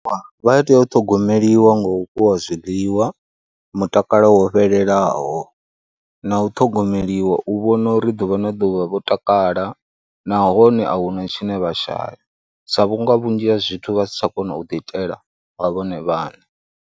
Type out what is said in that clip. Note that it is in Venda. Vha tea u ṱhogomeliwa ngo u fhiwa zwiḽiwa, mutakalo wo fhelelaho na u ṱhogomeliwa u vhona uri ḓuvha na ḓuvha vho takala nahone a hu na tshine vha shaya sa vhunga vhunzhi ha zwithu vha si tsha kona u ḓiitela nga vhone vhaṋe.